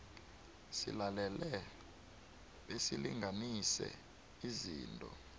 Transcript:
silalele besilinganise izinto